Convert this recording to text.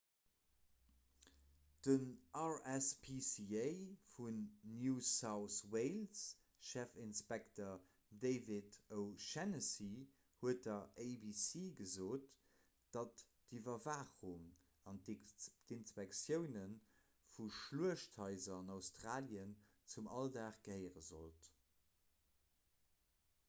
den rspca vun new south wales chefinspekter david o'shannessy huet der abc gesot datt d'iwwerwaachung an inspektioune vu schluechthaiser an australien zum alldag gehéiere sollt